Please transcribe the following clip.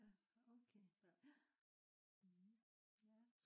ja okay ja